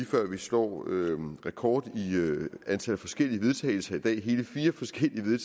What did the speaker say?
før vi slår rekord i antal forskellige vedtagelse det er hele fire forskellige